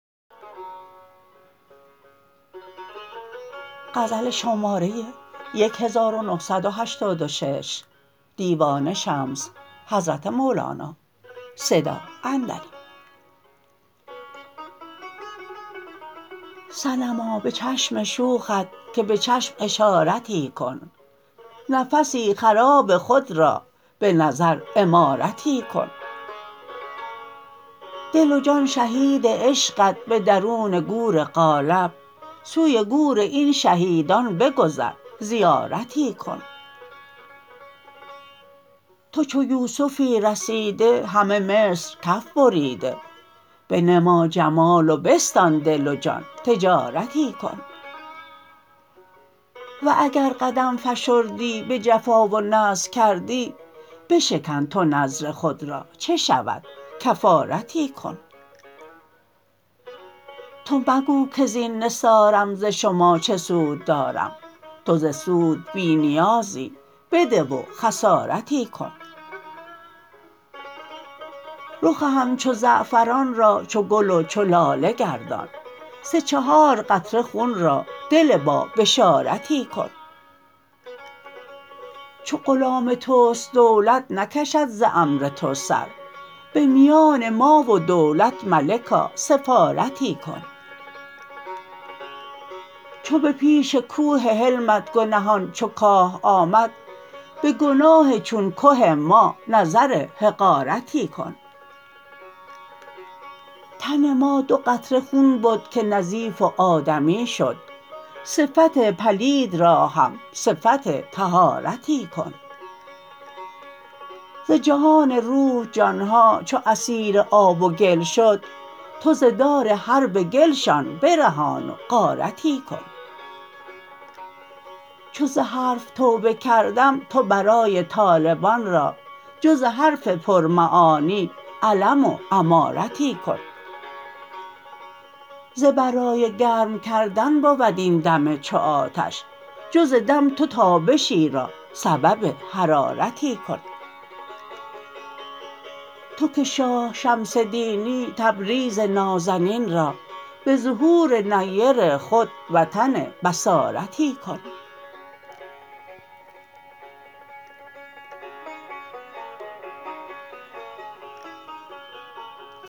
صنما به چشم شوخت که به چشم اشارتی کن نفسی خراب خود را به نظر عمارتی کن دل و جان شهید عشقت به درون گور قالب سوی گور این شهیدان بگذر زیارتی کن تو چو یوسفی رسیده همه مصر کف بریده بنما جمال و بستان دل و جان تجارتی کن و اگر قدم فشردی به جفا و نذر کردی بشکن تو نذر خود را چه شود کفارتی کن تو مگو کز این نثارم ز شما چه سود دارم تو ز سود بی نیازی بده و خسارتی کن رخ همچو زعفران را چو گل و چو لاله گردان سه چهار قطره خون را دل بابشارتی کن چو غلام توست دولت نکشد ز امر تو سر به میان ما و دولت ملکا سفارتی کن چو به پیش کوه حلمت گنهان چو کاه آمد به گناه چون که ما نظر حقارتی کن تن ما دو قطره خون بد که نظیف و آدمی شد صفت پلید را هم صفت طهارتی کن ز جهان روح جان ها چو اسیر آب و گل شد تو ز دار حرب گلشان برهان و غارتی کن چو ز حرف توبه کردم تو برای طالبان را جز حرف پرمعانی علم و امارتی کن ز برای گرم کردن بود این دم چو آتش جز دم تو تابشی را سبب حرارتی کن تو که شاه شمس دینی تبریز نازنین را به ظهور نیر خود وطن بصارتی کن